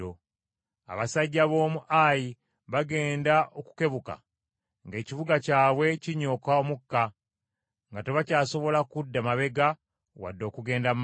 Abasajja b’omu Ayi bagenda okukebuka ng’ekibuga kyabwe kinyooka omukka nga tebakyasobola kudda mabega wadde okugenda mu maaso.